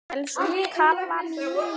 Elsku Kamilla mín.